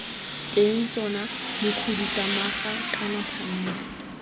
teng tona mokhuduthamaga kana phanele